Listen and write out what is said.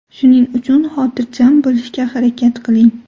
Shuning uchun xotirjam bo‘lishga harakat qiling.